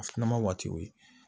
A filanan waati o ye